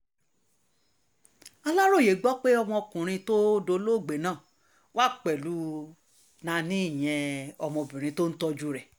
aláròye gbọ́ pé ọmọkùnrin tó dolóògbé náà wà pẹ̀lú nani ìyẹn obìnrin tó ń tọ́jú rẹ̀